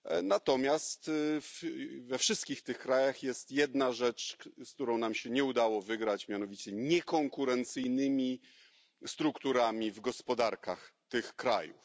Natomiast we wszystkich tych krajach jest jedna rzecz, z którą nam się nie udało wygrać, mianowicie niekonkurencyjne struktury w gospodarkach tych krajów.